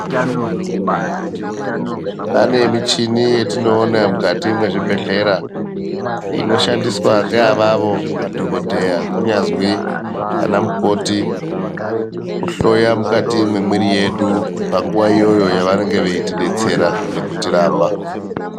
Pane muchini yetinoona mukati mwezvibhehleya inoshandiswa ngeavavo ana madhokodheya kunyazwi ana mukoti kuhloya mukati mwemwiri yedu panguwa iyoyo yavanonga eitidetsera veitirapa.